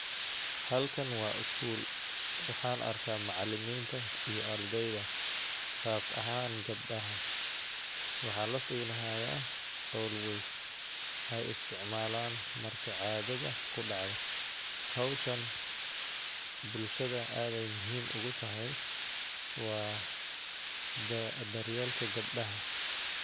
Halkan wa skul , waxaan arkaa macilinta iyo ardeyda qas ahaan gebdaha, waxaa lasinihayaa always ay isticmalan marki cadada kudacdho. Howshan bulshada ad ay muhim ugu tahay, wa daryelka gebdaha.